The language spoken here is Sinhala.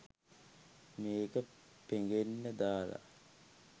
මේක පෙඟෙන්න දාලා